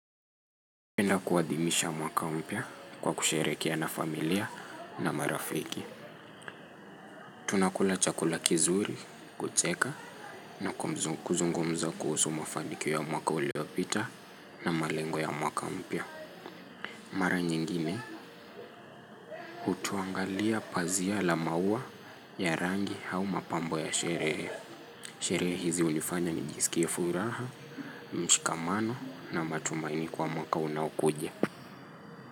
Napenda kuadhimisha mwaka mpya kwa kuerehekea na familia na marafiki. Tunakula chakula kizuri, kucheka, na kuzungumza kuhusu mafanikio ya mwaka uliopita na malengo ya mwaka mpya. Mara nyingine, hutuangalia pazia la maua ya rangi au mapambo ya sherehe. Sherehe hizi hunifanya nijisikia furaha, mshikamano na matumaini kwa mwaka unaokuja.